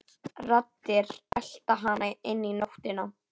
Raddir, elta hana inn í nóttina.